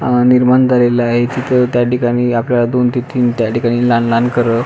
अह निर्माण झालेल आहे तिथ त्या ठिकाणी आपल्याला दोन ते तीन त्यात ठिकाणी लहान लहान घरं --